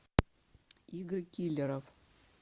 игры киллеров